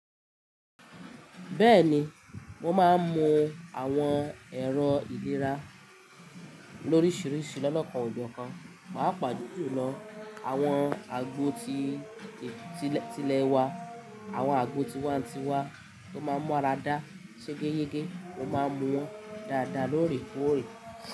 Bẹ́ẹ̀ni, mo máa ń mu àwọn ẹ̀rọ ìlera lóríṣiríṣi lọ́nà kan òjò kan, pàápàá jùlọ àwọn àgbo tí tìlẹ̀ wa, àwọn àgbo tiwa-n-tiwa tó máa ń mọ ara dá ṣe gẹ́ yẹ́gẹ́, mo máa ń mu wọn dáadáa lóòrèkóòrè.